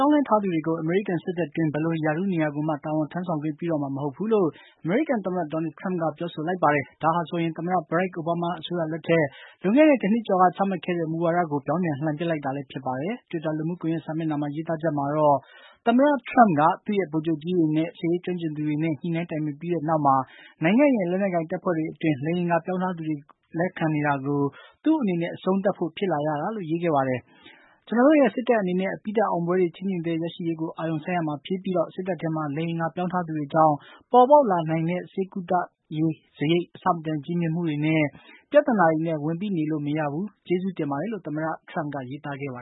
ောင်းလဲထားသူတွေကို အမေရိကန် စစ်တပ်တွင်း ဘယ်လို ရာထူးနေရာကိုမှ တာဝန်ထမ်းဆောင်ခွင့် ပြုတော့မှာ မဟုတ်ဘူးလို့ အမေရိကန် သမ္မတ Donald Trump က ပြောဆိုလိုက်ပါတယ်။ ဒါဟာဆိုရင် သမ္မတ ဘရက်ခ် အိုဘားမား အစိုးရလက်ထက် လွန်ခဲ့တဲ့ တနှစ်ကျော်က ချမှတ်ခဲ့တဲ့ မူဝါဒကို ပြောင်းပြန်လှန်လိုက်တာ ဖြစ်ပါတယ်။ တွစ်တာ လူမှုကွန်ယက် စာမျက်နှာမှာ ရေးသားချက်မှာတော့ သမ္မတ Trump က သူ့ရဲ့ ဗိုလ်ချုပ်ကြီးတွေနဲ့ စစ်ရေးကျွမ်းကျင်သူတွေနဲ့ ညှိနှိုင်းတိုင်ပင်ပြီးနောက်မှာ နိုင်ငံရဲ့ လက်နက်ကိုင် တပ်ဖွဲ့တွေ အတွင်း လိင်အင်္ဂါ ပြောင်းထားသူတွေကို လက်ခံနေတာကို သူ့အနေနဲ့ အဆုံးသတ်ဖို့ ဖြစ်လာရတာလို့ ရေးခဲ့တာပါ။ ကျနော်တို့ရဲ့ စစ်တပ် အနေနဲ့ အပြီးသတ် အောင်ပွဲတွေ ခြိမ့်ခြိမ့်သဲ ရရှိရေးကို အာရုံစိုက်ရမှာ ဖြစ်တယ်၊စစ်တပ်ထဲမှာ လိင်အင်္ဂါ ပြောင်းထားသူတွေကြောင့် ပေါ်ပေါက်လာနိုင်တဲ့ ဆေးကုသရေး စာရိတ် အဆမတန် ကြီးမြင့်မှုတွေ ပြသနာတွေနဲ့ ဝန်ပိနေလို့ မရဘူး။ ကျေးဇူးတင်ပါတယ်လို့ သမ္မတ Trump က ရေးသားခဲ့တာပါ